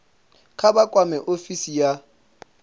kha vha kwame ofisi ya